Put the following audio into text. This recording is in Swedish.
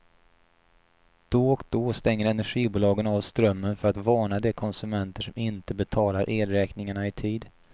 Då och då stänger energibolagen av strömmen för att varna de konsumenter som inte betalar elräkningarna i tid.